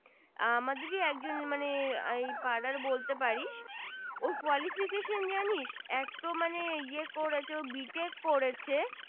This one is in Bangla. আহ আমাদেরি একজন মানে আই পাড়ার বলতেপারিস ওর Qualification জানি এক তো মানে ইয়ে করেছে b tech করেছে